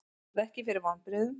Varð ekki fyrir vonbrigðum